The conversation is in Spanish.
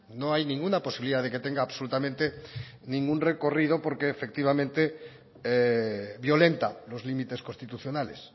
no hay ninguna posibilidad de que tenga absolutamente ningún recorrido porque efectivamente violenta los límites constitucionales